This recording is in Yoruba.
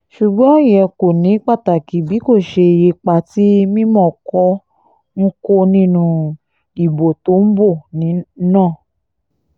ṣùgbọ́n ìyẹn kò ní pàtàkì bí kò ṣe ipa tí mímọ́kọ ń kó nínú ìbò tó ń bọ̀ náà